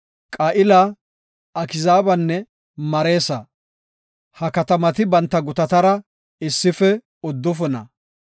Qa7ila, Akziibanne Mareesa. Ha katamati banta gutatara issife uddufuna.